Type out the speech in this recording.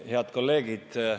Head kolleegid!